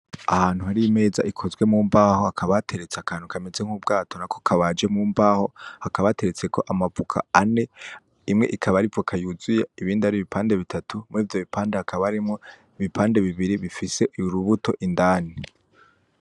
Ahantu hari imeza ikozwe mu mbaho hakaba hateretse akantu kameze nk'ubwato nako kabaje mu mbaho. Hakaba hateretseko amavoka ane, imwe ikaba ari ivoka yuzuye ibindi ari ibipande bitatu. Murivyo ibipande hakaba harimwo ibipande bibiri ibifise urubuto indani.